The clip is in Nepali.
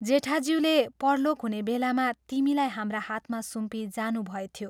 जेठाज्यूले परलोक हुने बेलामा तिमीलाई हाम्रा हातमा सुम्पी जानुभएथ्यो।